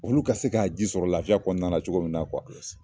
Olu ka se k'a ji sɔrɔ lafiya kɔnɔna na cogo min na